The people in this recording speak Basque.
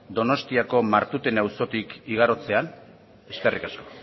donostiako martutene auzotik igarotzean eskerrik asko